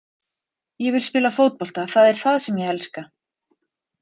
Ég vill spila fótbolta, það er það sem ég elska.